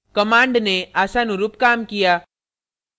command ने आशानुरूप काम किया